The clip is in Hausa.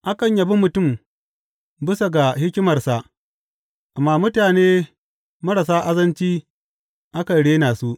Akan yabi mutum bisa ga hikimarsa, amma mutane marasa azanci akan rena su.